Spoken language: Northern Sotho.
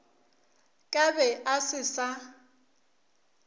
ka be a se sa